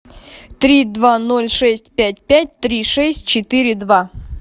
три два ноль шесть пять пять три шесть четыре два